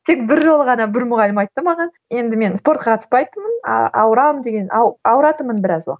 тек бір жолы ғана бір мұғалім айтты маған енді мен спортқа қатыспайтынмын ауырамын деген ауыратынмын біраз уақыт